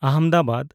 Ahmedabad